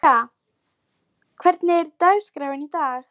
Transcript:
Hendrikka, hvernig er dagskráin í dag?